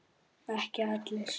Ekki allir.